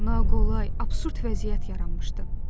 Naqolay, absurd vəziyyət yaranmışdı.